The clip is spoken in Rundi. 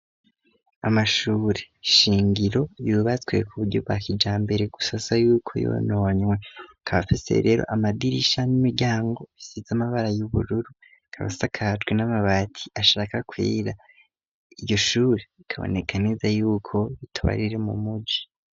Amashuri shingiro yubatswe ku buryo bwa kijambere gusa asa yuko yononywe aka afise rero amadirisha n'imiryango bisize amabara y'ubururu akaba asakajwe n'amabati ashaka kwera iryo shuri rikaboneka neza yuko bitoba riri mu muji.